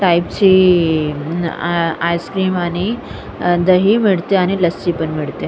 टाइपची ice cream आणि दही भेटते आणि लस्सी पण भेटते.